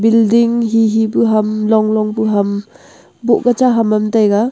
bilding hihi ke ham long long pu ham moh pu cha ham taiga.